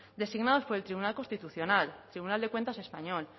designados por el tribunal constitucional tribunal de cuentas español